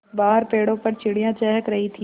बाहर पेड़ों पर चिड़ियाँ चहक रही थीं